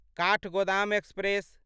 Kathgodam express